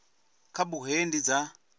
kha bugu hei ndi dza